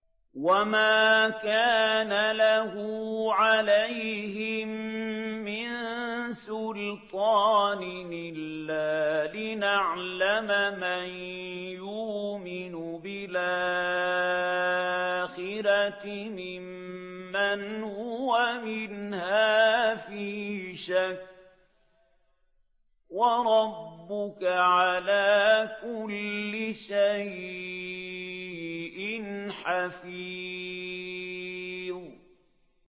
وَمَا كَانَ لَهُ عَلَيْهِم مِّن سُلْطَانٍ إِلَّا لِنَعْلَمَ مَن يُؤْمِنُ بِالْآخِرَةِ مِمَّنْ هُوَ مِنْهَا فِي شَكٍّ ۗ وَرَبُّكَ عَلَىٰ كُلِّ شَيْءٍ حَفِيظٌ